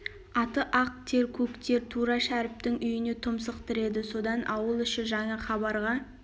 аты ақ тер көк тер тура шәріптің үйіне тұмсық тіреді содан ауыл іші жаңа хабарға